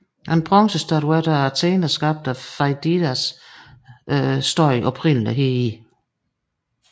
En bronzestatue af Athena skabt af Feidias stod oprindeligt heri